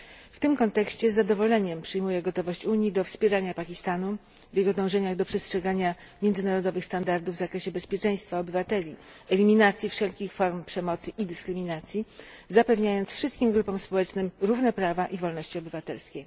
W tym kontekście z zadowoleniem przyjmuję gotowość Unii do wspierania Pakistanu w jego dążeniach do przestrzegania międzynarodowych standardów w zakresie bezpieczeństwa obywateli, eliminacji wszelkich form przemocy i dyskryminacji, zapewniając wszystkim grupom społecznym równe prawa i wolności obywatelskie.